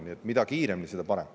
Nii et mida kiiremini, seda parem.